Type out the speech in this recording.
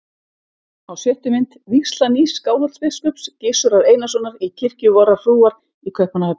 Á sjöttu mynd: vígsla nýs Skálholtsbiskups, Gizurar Einarssonar, í kirkju vorrar frúar í Kaupmannahöfn.